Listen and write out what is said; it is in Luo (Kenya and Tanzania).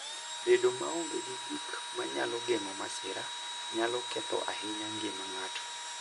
Bedo maonge gi gik manyalo geng'o masira, nyalo ketho ahinya ngima ng'ato.